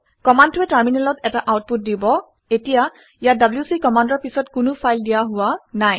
কমাণ্ডটোৱে টাৰমিনেলত এটা আউটপুট দিব এতিয়া ইয়াত ডব্লিউচি কমাণ্ডৰ পিছত কোনো ফাইল দিয়া হোৱা নাই